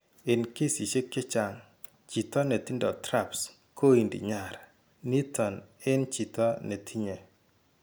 En kesiisyek chechaang' chiito netindo TRAPS kointi nyar niiton en chiito ne tinye.